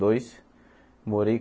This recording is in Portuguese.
Dois morei